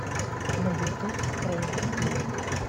на ютуб крэйзи сплин